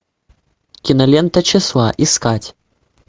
кинолента числа искать